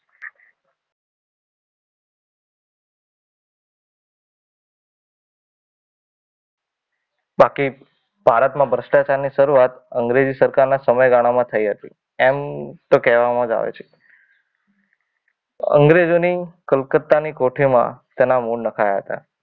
બાકી ભારતમાં ભ્રષ્ટાચાર ની શરૂઆત અંગ્રેજી સરકારના સમયગાળામાં થઈ હતી, એમ તો કહેવામાં આવે છે. અંગ્રેજોની કલકત્તાની કોઠીમાં તેના મૂળ નખાયા હતા.